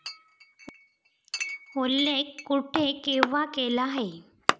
उल्लेख कुठे केव्हा केला आहे